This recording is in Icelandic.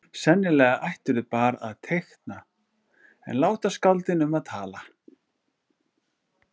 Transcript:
Sennilega ættirðu bara að teikna en láta skáldin um að tala.